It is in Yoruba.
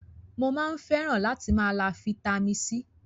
Mo máa ń fẹ́ràn látì máa lá Fitami C.